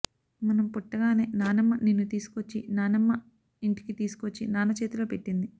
మనం పుట్టగానే నాన్నమ్మ నిన్ను తీసుకొచ్చి నాన్నమ్మ ఇంటికి తీసుకొచ్చి నాన్న చేతిలో పెట్టింది